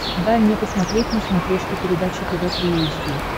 дай мне посмотреть на смотрешке передачу тв три эйч ди